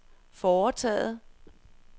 foretaget